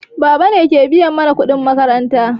Baba ne ke biya mana kuɗin makaranta.